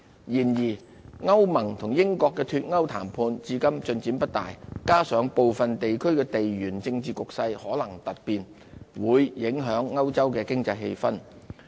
然而，歐盟與英國的脫歐談判至今進展不大，加上部分地區的地緣政治局勢可能突變，會影響歐洲經濟氣氛。